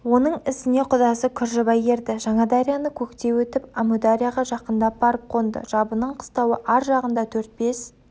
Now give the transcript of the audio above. оның ізіне кұдасы күржібай ерді жаңадарияны көктей өтіп әмударияға жақындап барып қонды жабының қыстауы аржағында төрт-бес